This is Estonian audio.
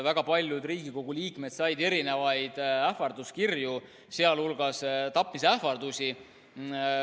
Väga paljud Riigikogu liikmed said ka ähvarduskirju, sh tapmisähvardusi.